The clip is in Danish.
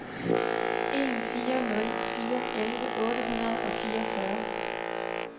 en fire nul fire elleve otte hundrede og fireogfyrre